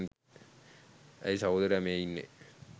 ඇයි සහෝදරයා මේ ඉන්නේ